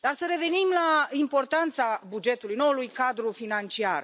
Dar să revenim la importanța bugetului noului cadru financiar.